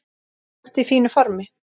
Ertu í fínu formi?